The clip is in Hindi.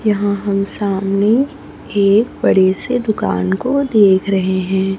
यहां हम सामने एक बड़े से दुकान को देख रहे हैं।